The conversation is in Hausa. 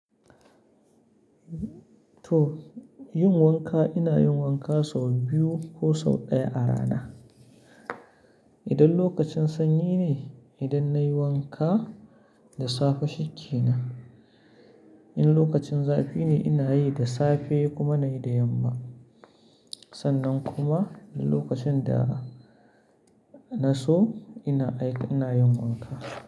To, yin wanka ina yin wanka sau biyu ko sau ɗaya a rana. Idan lokacin sanyi ne, idan nayi wanka da safe shi ke nan. In lokacin zafi ne ina yi da safe kuma nayi da yamma. Sannan kuma in lokacin da na so ina aiki ina yin wanka.